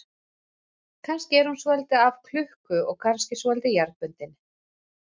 Kannski er hún svolítið af klukku og kannski svolítið jarðbundin.